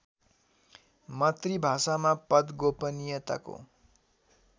मातृभाषामा पद गोपनियताको